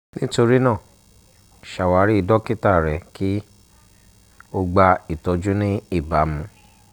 nitorina ṣawari dokita rẹ ki o gba itọju ni ibamu